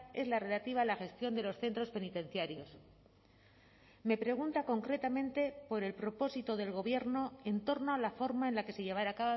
es la relativa a la gestión de los centros penitenciarios me pregunta concretamente por el propósito del gobierno en torno a la forma en la que se llevará